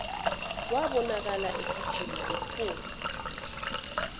wabonakala egijima ephuma